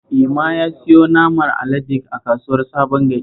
Ema ya siyo naman alade a kasuwar Sabon Gari